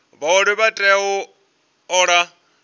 vhaoli vha tea u ola